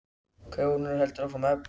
Krónan heldur áfram að eflast.